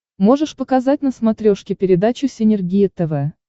можешь показать на смотрешке передачу синергия тв